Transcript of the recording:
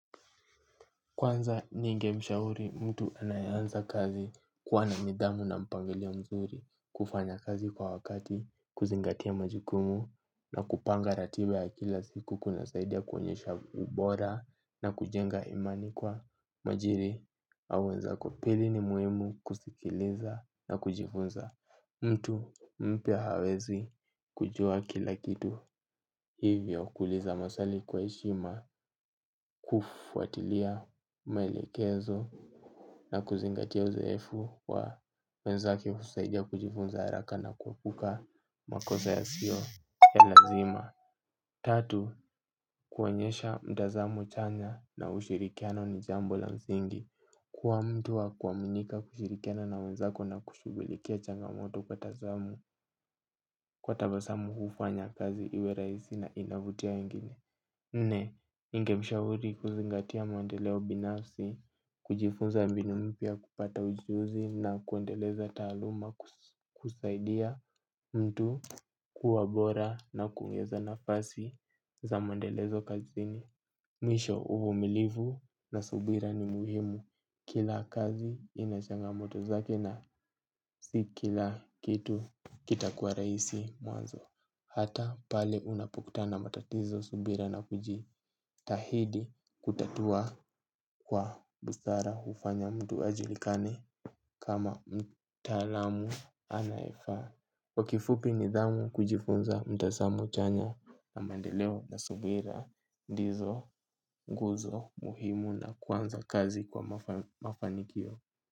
Kwanza ninge mshauri mtu anaeanza kazi kuwa na midhamu na mpangilio mzuri kufanya kazi kwa wakati kuzingatia majukumu na kupanga ratiba ya kila siku kuna saidia kuonyesha ubora na kujenga imani kwa majiri awenza kwapili ni muhimu kusikiliza na kujifunza mtu mpya hawezi kujua kila kitu hivyo kuuliza maswali kwa heshima kufuatilia maelekezo. Na kuzingatia uzoefu wa wenzake husaidia kujifunza haraka na kuepuka makosa yasio ya lazima. Tatu, kuonyesha mtazamo chanya na ushirikiano ni jambo la msingi. Kuwa mtu wa kuaminika kushirikiana na wenzako na kushugulikia changamoto kwa tazamu. Kwa tabasamu hufanya kazi iwe raisi na inavutia wengine nne, ninge mshauri kuzingatia mwandeleo binafsi, kujifunza mbinu mpya kupata ujuhuzi na kuendeleza taaluma kusaidia mtu kuwa bora na kuweza nafasi. Za maendelezo kazini. Mwisho uvumilivu na subira ni muhimu. Kila kazi ina changamoto zake na si kila kitu kitakuwa raisi mwanzo. Hata pale unapokutana na matatizo subira na kujitahidi kutatua kwa busara hufanya mtu ajulikane kama mtalamu anaye faa. Kwa kifupi nidhamu kujifunza mtazamo chanya na mandeleo na subira ndizo nguzo muhimu za kuanza kazi kwa mafanikio.